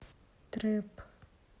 трэп